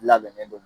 Labɛnnen don